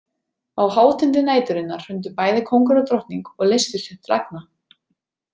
Á hátindi næturinnar hrundu bæði kóngur og drottning og leystust upp til agna.